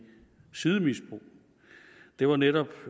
sidemisbrug det var netop